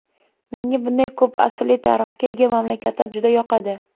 Menga bunday ko‘p asrli tarixga ega mamlakatlar juda yoqadi.